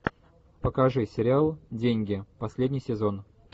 покажи сериал деньги последний сезон